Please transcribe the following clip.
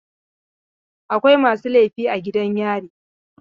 Akwai masu laifi a gidan yari.